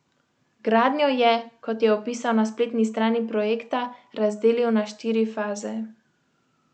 Gradnjo je, kot je opisal na spletni strani projekta, razdelil na štiri faze.